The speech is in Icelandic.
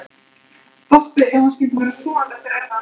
Doppu ef hún skyldi vera sofandi eftir erfiða nótt.